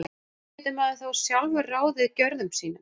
Hvernig getur maður þá sjálfur ráðið gjörðum sínum?